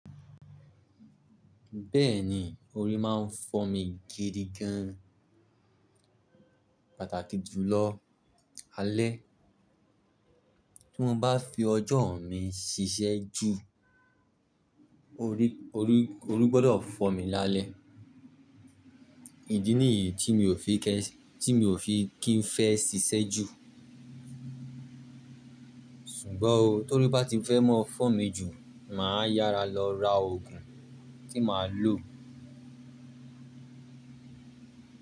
Bẹ́ẹ̀ni, orí máa ń fọ́ mi gidi gan, pàtàkì jùlọ alẹ́. Tí mo bá fi ọjọ́ mi ṣiṣẹ́ jù, orí, orí, orí gbọ́dọ̀ fọ́ mi lálẹ́. Ìdí nìyí tí mi ò fi kẹ́ṣ-- tí mi ò fi kí n fẹ́ ṣiṣẹ́ jù. Sùgbọ́n o, tóri bá ti fẹ́ ms fọ́ mi jù, mà á yára lọ ra òògùn tí mà á lò.